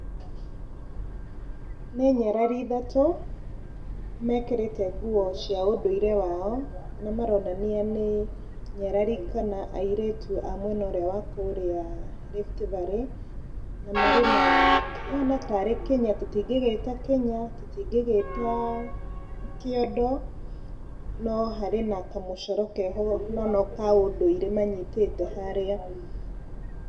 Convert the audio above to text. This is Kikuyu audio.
Nĩ nyarari ĩthatũ mekĩrĩte nguo cia ũndũire wao, kũrĩa maronania nĩ nyarari kana airĩtu a mwena ũrĩa wa kũrĩa Rift valley, na marĩ na kĩhana tarĩ kĩnya, tũtingĩgĩta kĩnya, tũtingĩgĩta kĩondo, no harĩ na kamũcoro keho mũno ka ũndũire manyitĩte harĩa.